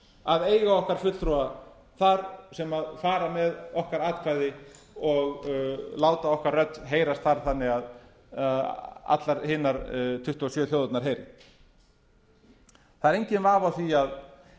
að eiga okkar fulltrúa þar sem fara með okkar atkvæði og láta okkar rödd heyrast þar þannig að allar hinar tuttugu og sjö þjóðirnar heyri það er enginn vafi á því